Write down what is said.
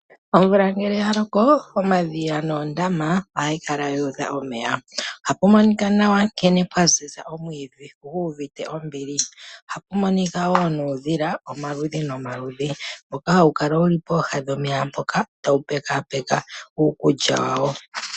Omvula ngele yaloko, omadhiya noondama, ohadhi kala dhu udha omeya. Ohapu monika nawa nkene pwaziza omwiidhi, gu uvite ombili. Ohapu monika wo nuudhila omaludhi nomaludhi, mboka hawu kala wuli pooha dhomeya mpoka, tawu pekapeka uukulya wawo.